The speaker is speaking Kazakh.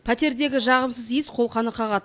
пәтердегі жағымсыз иіс қолқаны қағады